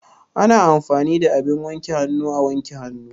Ana amfani da abin wanke hannu a wanke hannu.